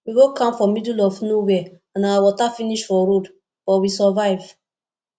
we go camp for middle of nowhere and our water finish for road but we survive